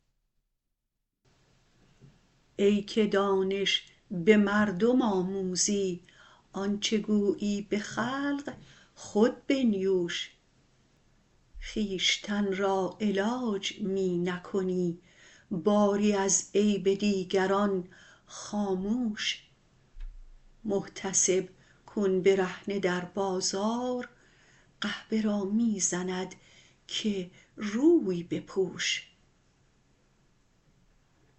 ای که دانش به مردم آموزی آن چه گویی به خلق خود بنیوش خویش تن را علاج می نکنی باری از عیب دیگران خاموش محتسب کون برهنه در بازار قحبه را می زند که روی بپوش